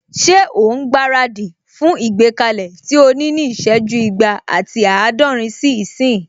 Ṣé òun gbára dì fún ìgbékalẹ̀ tí o ní ní ìsẹ́jú igba ati àádọ́rin sí ìsín?